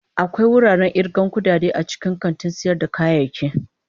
Akwai wuraren irgan kudade a cikin kantin sayar da kayayyaki.